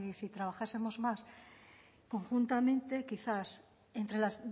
si trabajásemos más conjuntamente quizás entre la